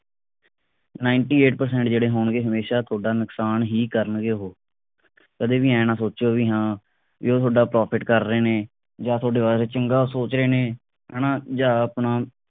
ninetyeightpercent ਜਿਹੜੇ ਹੋਣਗੇ ਹਮੇਸ਼ਾ ਤੁਹਾਡਾ ਨੁਕਸਾਨ ਹੀ ਕਰਨਗੇ ਉਹ ਕਦੀ ਵੀ ਐ ਨਾ ਸੋਚੋ ਬਈ ਹਾਂ ਉਹ ਤੁਹਾਡਾ profit ਕਰ ਰਹੇ ਨੇ ਜਾਂ ਤੁਹਾਡੇ ਵਾਸਤੇ ਚੰਗਾ ਸੋਚ ਰਹੇ ਨੇ ਹਣਾ ਜਾਂ ਆਪਣਾ